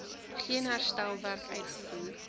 geen herstelwerk uitgevoer